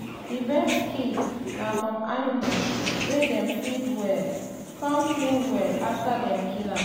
the best skin na from animal wey dem feed well come clean well after dem kill am.